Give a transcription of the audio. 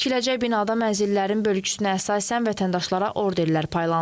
Və tikiləcək binada mənzillərin bölgüsünə əsasən vətəndaşlara orderlər paylanılıb.